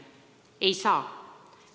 Ei saa!